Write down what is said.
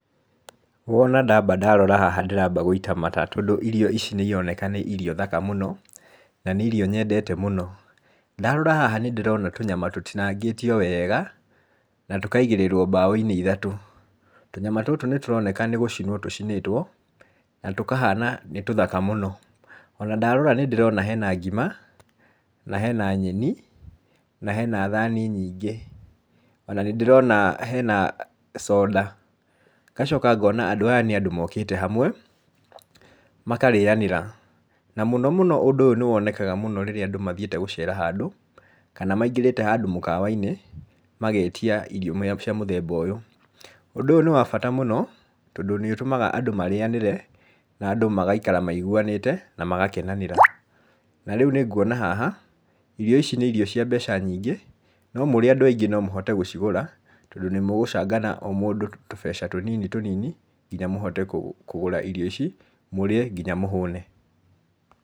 Wona ndamba ndarora haha ndĩramba gũita mata tondũ irio ici nĩ ironeka nĩ irio thaka mũno, na nĩ irio nyendete mũno. Ndarora haha nĩ ndĩrona tũnyama tũtinangĩtio wega, na tũkaigĩrĩrwo mbaũ-inĩ ithatũ. Tũnyama tũtũ nĩ tũroneka nĩ gũcinwo tũcinĩtwo, na tũkahana nĩ tũthaka mũno. Ona ndarora nĩ ndĩrona hena ngima, na hena nyeni, na hena thani nyingĩ, ona nĩ ndĩrona hena soda, ngacoka ngona andũ aya nĩ andũ mokĩte hamwe, makarĩanĩra, na mũno mũno ũndũ nĩ wonekaga mũno rĩrĩa andũ mathiĩte gũcera handũ, kana maingĩrĩte handũ mũkawa-inĩ, magetia irio cia mũthemba ũyũ. Ũndũ ũyũ nĩ wa bata mũno tondũ nĩ ũtũmaga andũ marĩanĩre na andũ magaikara maiguanĩte na magakenanĩra. Na rĩu nĩ nguona haha irio ici nĩ irio cia mbeca nyingĩ, no mũrĩ andũ aingĩ no mũhote gũcigũra, tondũ nĩ mũgũcangana o mũndũ tũbeca tũnini tũnini, nginya mũhote kũgũra irio ici, mũrĩe nginya mũhũne.